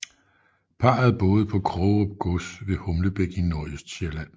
Parret boede på Krogerup gods ved Humlebæk i Nordøstsjælland